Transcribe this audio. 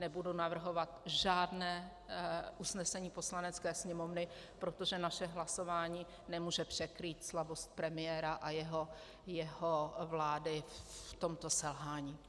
Nebudu navrhovat žádné usnesení Poslanecké sněmovny, protože naše hlasování nemůže překrýt slabost premiéra a jeho vlády v tomto selhání.